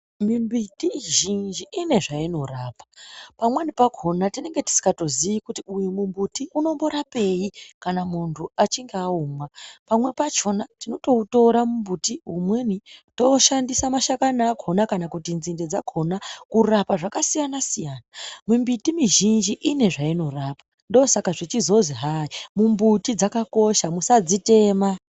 Mimbiti izhinji ine zvainorapa pamweni pakona tinenge tisingatozii kuti uyu mumbuti unomborapei kana muntu achinge aumwa pamweni pacho tinotoutora mumbuti umweni toshandisa mashakani akona nenzinde dzakona kurapa zvakasiyana siyana mimbiti mizhinji ine zvainorapa ndosaka zvechizonzi hayii mumbuti dzakakosha musadzitema.